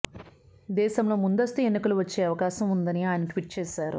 దేశంలో ముందస్తు ఎన్నికలు వచ్చే అవకాశం ఉందని ఆయన ట్విట్ చేశారు